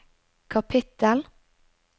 kapittel